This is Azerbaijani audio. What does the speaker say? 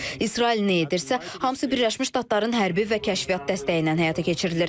İsrail nə edirsə, hamısı Birləşmiş Ştatların hərbi və kəşfiyyat dəstəyi ilə həyata keçirilir.